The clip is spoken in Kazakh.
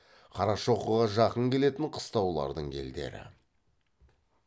қарашоқыға жақын келетін қыстаулардың елдері